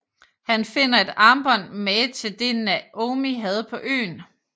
Han finder et armbånd mange til det Naomi havde på øen